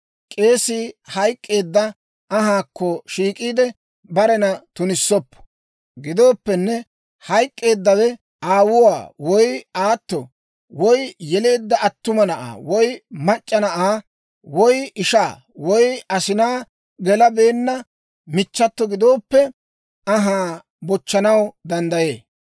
«‹ «K'eesii hayk'k'eedda anhaakko shiik'iide, barena tunissoppo. Gidooppenne, hayk'k'eeddawe aawuwaa, woy aato, woy yeleedda attuma na'aa, woy mac'c'a na'aa, woy ishaa, woy asinaa gelabeenna michchato gidooppe, anhaa bochchanaw danddayee.